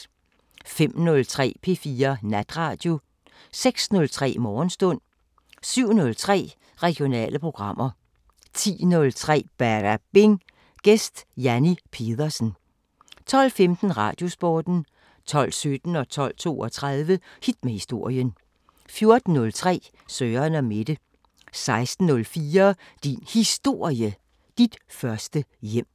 05:03: P4 Natradio 06:03: Morgenstund 07:03: Regionale programmer 10:03: Badabing: Gæst Janni Pedersen 12:15: Radiosporten 12:17: Hit med historien 12:32: Hit med historien 14:03: Søren & Mette 16:04: Din Historie – Dit første hjem